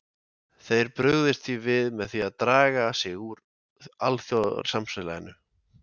Þeir brugðist því við með því draga sig úr alþjóðasamfélaginu.